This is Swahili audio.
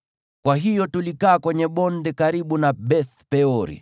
Kwa hiyo tulikaa kwenye bonde karibu na Beth-Peori.